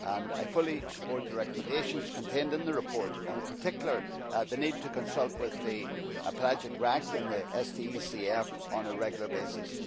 I fully support the recommendations contained in the report and, in particular, the need to consult with the Pelagic RAC and the STECF on a regular basis.